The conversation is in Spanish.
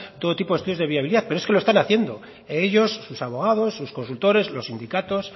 todo tipo de estudios de viabilidad pero es que lo están haciendo ellos sus abogados sus consultores los sindicatos